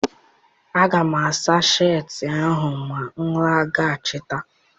Aga m asa sheetị ahụ ma m laghachite